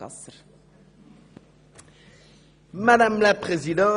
Bei gleichem Einkommen bezahlen sie unterschiedlich viel Steuern.